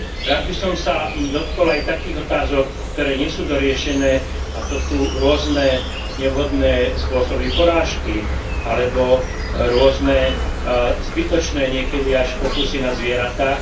Rád by som sa dotkol aj takých otázok, ktoré nie sú doriešené, a to sú rôzne nevhodné spôsoby porážky alebo rôzne zbytočné niekedy až pokusy na zvieratách.